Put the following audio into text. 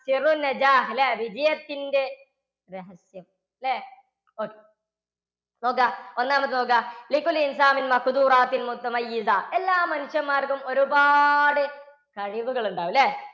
വിജയത്തിൻറെ രഹസ്യം അല്ലേ okay നോക്കുക ഒന്നാമത്തെ നോക്കുക എല്ലാ മനുഷ്യന്മാർക്കും ഒരുപാട് കഴിവുകൾ ഉണ്ടാകും. അല്ലേ?